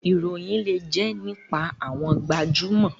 Ìròyìn lè jẹ́ nípa àwọn gbajúmọ̀.